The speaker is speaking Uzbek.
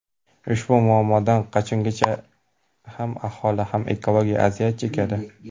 Ushbu muammodan qachongacha ham aholi, ham ekologiya aziyat chekadi?